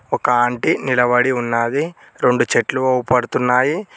ఒక ఆంటీ నిలబడి ఉన్నాది రెండు చెట్లు అవ్పడుతున్నాయి.